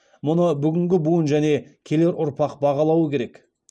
мұны бүгінгі буын және келер ұрпақ бағалауы керек